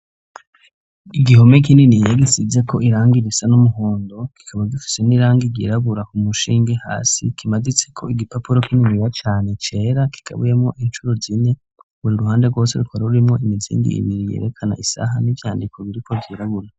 Igihome kininiya gisize ko irangi risa n'umuhondo, kikaba gifise n'irangi ryirabura. Umushinge, hasi kimaditse ko igipapuro kininiya cane cera kigabuyemo incuro zine. Buri ruhande rwose rukaba rurimwo imizingi ibiri yerekana isaha n'ivyandiko biriko vyirabura.